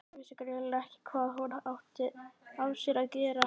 Vissi greinilega ekki hvað hún átti af sér að gera.